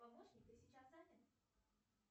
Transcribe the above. помощник ты сейчас занят